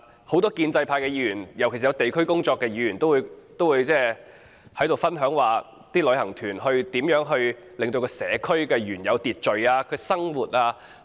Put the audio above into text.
很多建制派議員，尤其從事地區工作的議員，都分享旅行團如何影響社區的原有秩序和生活。